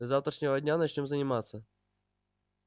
с завтрашнего дня начнём заниматься